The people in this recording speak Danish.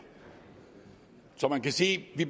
så man kan sige at vi